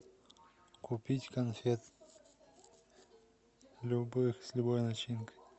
купить конфет любых с любой начинкой